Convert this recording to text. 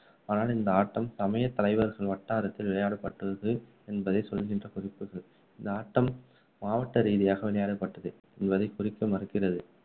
ஆனால் இந்த ஆட்டம் சமய தலைவர்கள் வட்டாரத்தில் விளையாடப்பட்டது என்பதை சொல்கின்ற குறிப்புகள் இந்த ஆட்டம் மாவட்ட ரீதியாக விளையாடப்பட்டது என்பதை குறிக்க மறுக்கிறது.